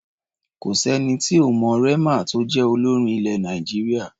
Kò sẹ́ni tí ò mọ Rema tó jẹ́ olórin ilẹ̀ Nàìjíríà.